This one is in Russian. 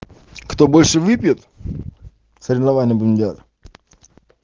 кто больше выпьет соревнования будем делать